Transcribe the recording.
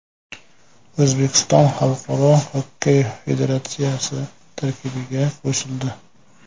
O‘zbekiston Xalqaro xokkey federatsiyasi tarkibiga qo‘shildi.